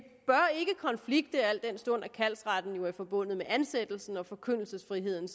konflikte al den stund at kaldsretten jo er forbundet med ansættelsen mens forkyndelsesfriheden